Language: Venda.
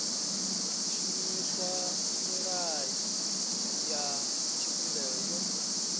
shumisa milayo ya tshivhumbeo yo